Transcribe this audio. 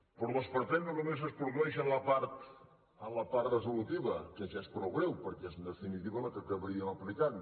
però l’esperpent no només es produeix a la part resolutiva que ja és prou greu perquè és en definitiva la que acabaríem explicant